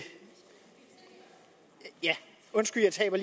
ja undskyld jeg taber